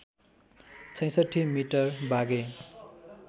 ६६ metre Bagh-e